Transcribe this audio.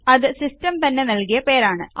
അത് സിസ്റ്റം തന്നെ നല്കിയ പേരാണ്